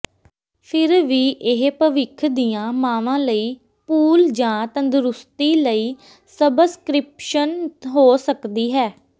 ਫਿਰ ਵੀ ਇਹ ਭਵਿੱਖ ਦੀਆਂ ਮਾਵਾਂ ਲਈ ਪੂਲ ਜਾਂ ਤੰਦਰੁਸਤੀ ਲਈ ਸਬਸਕ੍ਰਿਪਸ਼ਨ ਹੋ ਸਕਦੀ ਹੈ